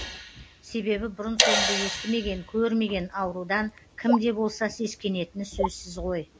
себебі бұрын соңды естімеген көрмеген аурудан кімде болса сескенетіні сөзсіз ғой